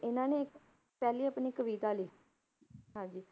ਇਹਨਾਂ ਨੇ ਇੱਕ ਪਹਿਲੀ ਆਪਣੀ ਕਵਿਤਾ ਲਿਖੀ, ਹਾਂਜੀ